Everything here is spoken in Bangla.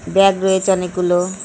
ব্যাগ রয়েছে অনেক গুলো -